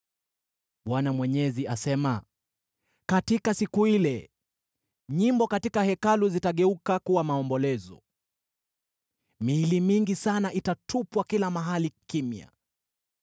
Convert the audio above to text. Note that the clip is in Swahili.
Bwana Mwenyezi asema, “Katika siku ile, nyimbo katika Hekalu zitageuka kuwa maombolezo. Miili mingi, mingi sana: itatupwa kila mahali! Kimya!”